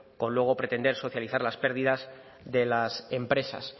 con luego pretender socializar las pérdidas de las empresas